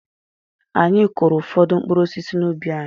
Anyị kụụrụ ụfọdụ mkpụrụ osisi n'ubi anyị.